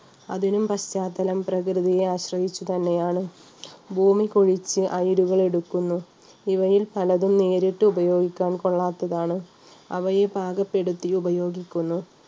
അതിനും പശ്ചാത്തലം പ്രകൃതിയെ ആശ്രയിച്ചു തന്നെയാണ് ഭൂമികുഴിച്ച് അയിരുകൾ എടുക്കുന്നു ഇവയിൽ പലതും നേരിട്ടു ഉപയോഗിക്കാൻ കൊള്ളാത്തതാണ് അവയെ പാകപ്പെടുത്തി ഉപയോഗിക്കുന്നു.